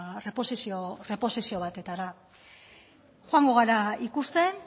reposizio batetara joango gara ikusten